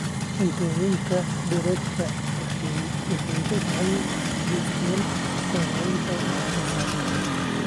Cuntooyinka dheeraadka ah waxay gacan ka geystaan ??kor u qaadida wax soo saarka.